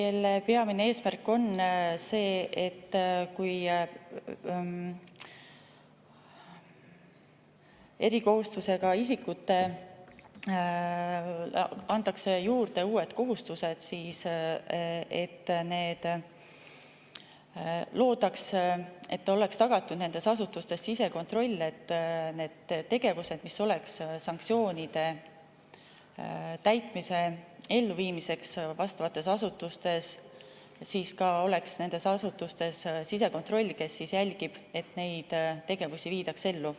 Selle peamine eesmärk on see, et kui erikohustustega isikutele antakse juurde uued kohustused, siis oleks tagatud nendes asutustes sisekontroll nende tegevuste jaoks, mis on mõeldud sanktsioonide täitmise elluviimiseks vastavates asutustes, selleks et nendes asutustes oleks sisekontroll, kes jälgib, et neid tegevusi viidaks ellu.